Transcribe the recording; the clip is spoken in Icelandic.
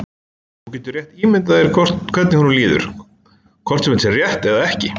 Þú getur rétt ímyndað þér hvernig honum líður, hvort sem þetta er rétt eða ekki.